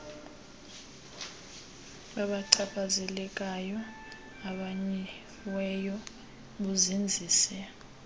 babachaphazelekayo abamanyiweyo buzinzise